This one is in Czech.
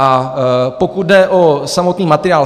A pokud jde o samotný materiál.